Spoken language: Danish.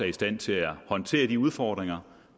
i stand til at håndtere de udfordringer